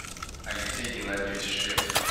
алексей геннадьевич швец